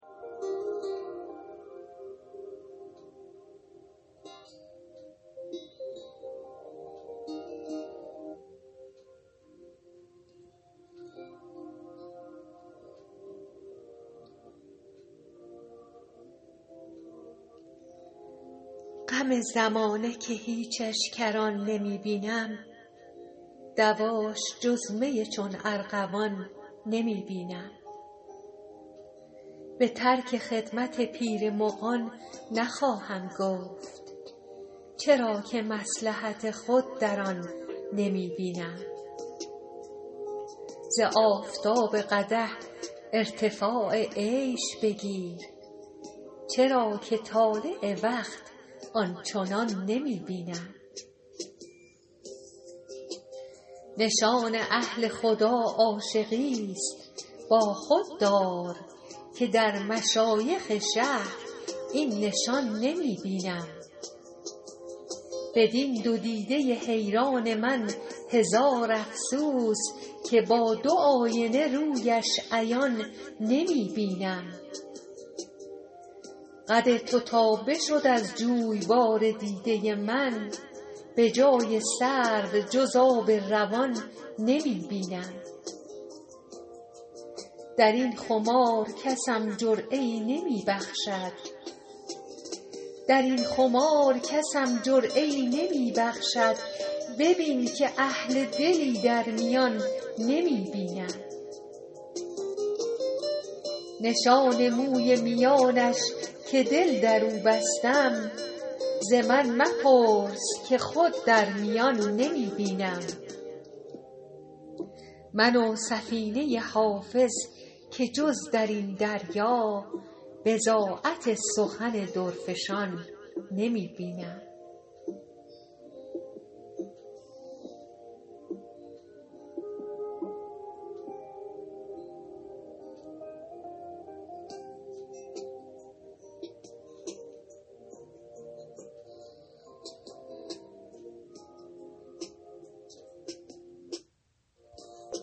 غم زمانه که هیچش کران نمی بینم دواش جز می چون ارغوان نمی بینم به ترک خدمت پیر مغان نخواهم گفت چرا که مصلحت خود در آن نمی بینم ز آفتاب قدح ارتفاع عیش بگیر چرا که طالع وقت آن چنان نمی بینم نشان اهل خدا عاشقیست با خود دار که در مشایخ شهر این نشان نمی بینم بدین دو دیده حیران من هزار افسوس که با دو آینه رویش عیان نمی بینم قد تو تا بشد از جویبار دیده من به جای سرو جز آب روان نمی بینم در این خمار کسم جرعه ای نمی بخشد ببین که اهل دلی در میان نمی بینم نشان موی میانش که دل در او بستم ز من مپرس که خود در میان نمی بینم من و سفینه حافظ که جز در این دریا بضاعت سخن درفشان نمی بینم